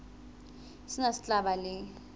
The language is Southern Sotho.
sena se tla ba le